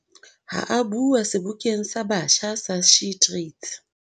Ha a bua Sebokeng sa Batjha sa SheTrades